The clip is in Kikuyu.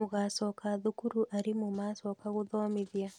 Mũgacoka thukuru arimũ macoka gũthomithia